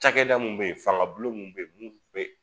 Cakɛda mun be ye fanga bulon mun be ye mun be